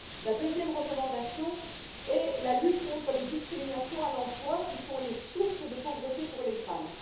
La deuxième recommandation est la lutte contre les discriminations à l'emploi, qui sont des sources de pauvreté pour les femmes.